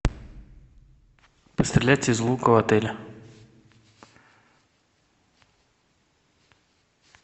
пострелять из лука в отеле